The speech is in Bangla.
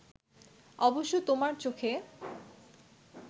অবশ্য তোমার চোখে